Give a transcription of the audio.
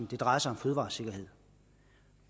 det drejer sig om fødevaresikkerhed